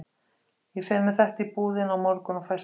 Ég fer með þetta í búðina á morgun og fæ skipt.